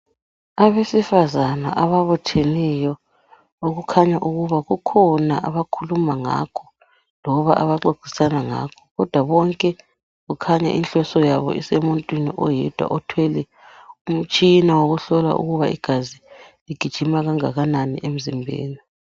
Abesifazana ababutheneyo okukhanya ukuba kukhona abakhuluma ngakho, loba abaxoxisana ngakho kodwa bonke kukhanya inhloso yabo isemuntwini oyedwa othwele umtshina wokuhlola ukuba igazi ligijima kangakanani emzimbeni.